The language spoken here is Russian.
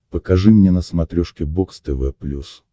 покажи мне на смотрешке бокс тв плюс